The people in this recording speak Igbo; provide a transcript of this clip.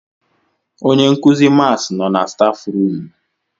Onyenkuzi mats nọ na stafu rum